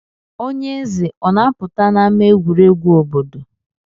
Onye eze o na-apụta n'ama egwuregwu obodo?